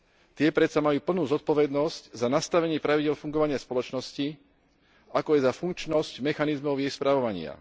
Tie predsa majú plnú zodpovednosť za nastavenie pravidiel fungovania spoločnosti, ako aj za funkčnosť mechanizmov jej spravovania.